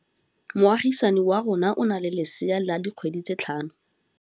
Moagisane wa rona o na le lesea la dikgwedi tse tlhano.